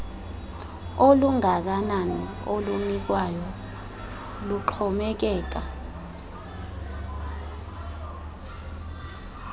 olungakanani olunikwayo luxhomekeka